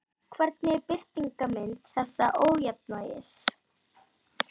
Hvernig er birtingarmynd þessa ójafnvægis?